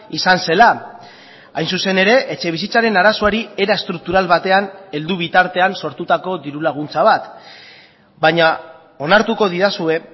izan zela hain zuzen ere etxebizitzaren arazoari era estruktural batean heldu bitartean sortutako diru laguntza bat baina onartuko didazue